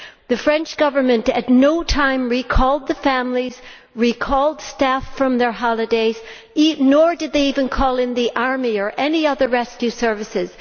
The French Government at no time recalled the families or recalled staff from their holidays, nor did it call in the army or any other rescue services.